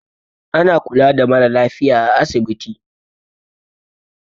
Ana kula da mara lafiya a asibiti.